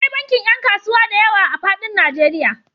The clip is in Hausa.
Da akwai bankin ƴan kasuwa diyawa a faɗin Najeriya.